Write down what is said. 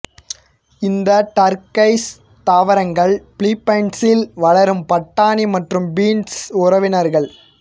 இந்த டர்க்கைஸ் தாவரங்கள் பிலிப்பீன்ஸில் வளரும் பட்டாணி மற்றும் பீன்ஸ் உறவினர்கள்